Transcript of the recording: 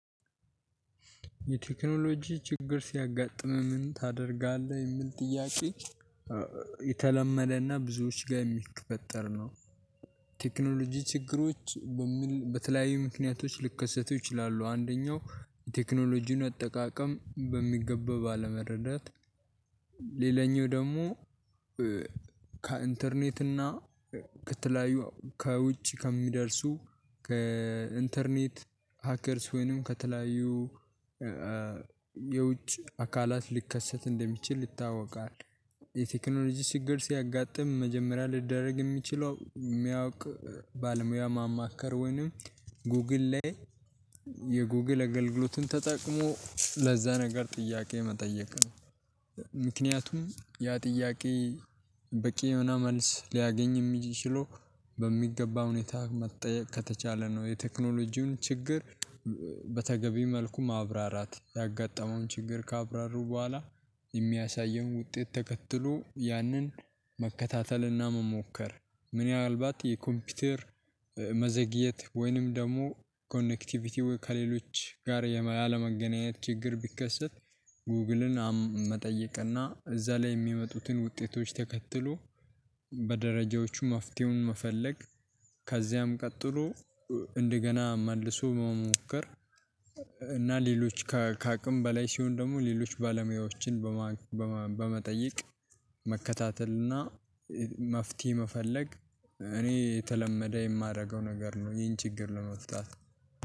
የቴክኖሎጂ ችግር ሲያጋጥምህ ታደርጋለህ? የሚል ጥያቄ የተለመደና ብዙዎች ጋር የሚፈጠር ነው። ቴክኖሎጂ ችግሮች በሚል በተለያዩ ምክንያቶች ልከሰት ይችላሉ አንደኛው የቴክኖሎጂን አጠቃቀም በሚገባ ባለመረዳት ሌላኛው ደግሞ ከኢንተርኔት እና ከተለያዩ ከውጭ ከሚደርሱ ከኢንተርኔት ሀከርስ ወይንም ከተለያዩ የውጭ አካላት ሊከሰት እንደሚችል ይታወቃል። የቴክኖሎጂ ችግር ሲያጋጥም መጀመሪያ ልደረግ የሚችለው የሚያውቅ ባልሙያ ማማከር ወይንም ጎግል ላይ የጎግል አገልግሎቱን ተጠቅሞ ለዛ ነገር ጥያቄ መጠየቅ ነው ምክንያቱም ያ ጥያቄ በቂ የሆነ መልስ ሊያገኝ የሚችለው በሚገባ ሁኔታ መጠየቅ ከተቻለ ነው የቴክኖሎጂውን ችግር በተገቢ መልኩ ማብራራት ያጋጠመውን ችግር ካብራሩ በኋላ የሚያሳየውን ውጤት ተከትሎ ያንን መከታተልና መሞከር ምንአልባት የኮምፒውተር መዘግየት ወይንም ደግሞ ኮኔክቲቪቲው ከሌሎች ጋር ያለመገናኘት ችግር ቢከሰት ጎግልን መጠየቅና እዛ ላይ የሚመጡትን ውጤቶች ተከትሎ በደረጃዎቹ መፍትሄውን መፈለግ ከዚያም ቀጥሎ እንደገና መልሶ መሞከር እና ሌሎች ከአቅም በላይ ሲሆን ደግሞ ሌሎች ባለሙያዎችን በመጠየቅ መከታተል እና መፍትሄ መፈለግ እኔ የተለመደ የማደርገው ነገር ነው ይህን ችግር ለመፍታት